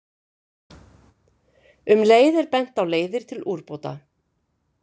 Um leið er bent á leiðir til úrbóta.